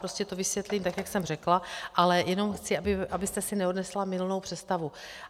Prostě to vysvětlím tak, jak jsem řekla, ale jenom chci, abyste si neodnesla mylnou představu.